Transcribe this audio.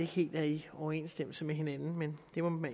helt i overensstemmelse med hinanden men